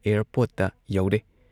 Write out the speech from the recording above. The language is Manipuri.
ꯑꯦꯌꯔꯄꯣꯔꯠꯇ ꯌꯧꯔꯦ ꯫